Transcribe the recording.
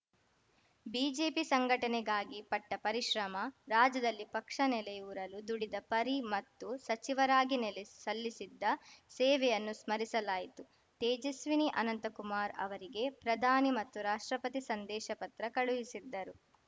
BJP ಸಂಘಟನೆಗಾಗಿ ಪಟ್ಟಪರಿಶ್ರಮ ರಾಜ್ಯದಲ್ಲಿ ಪಕ್ಷ ನೆಲೆಯೂರಲು ದುಡಿದ ಪರಿ ಮತ್ತು ಸಚಿವರಾಗಿ ನೆಲೆ ಸಲ್ಲಿಸಿದ್ದ ಸೇವೆಯನ್ನು ಸ್ಮರಿಸಲಾಯಿತು ತೇಜಸ್ವಿನಿ ಅನಂತಕುಮಾರ್‌ ಅವರಿಗೆ ಪ್ರಧಾನಿ ಮತ್ತು ರಾಷ್ಟ್ರಪತಿ ಸಂದೇಶ ಪತ್ರ ಕಳುಹಿಸಿದ್ದರು